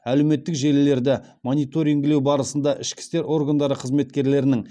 әлеуметтік желілерді мониторингілеу барысында ішкі істер органдары қызметкерлерінің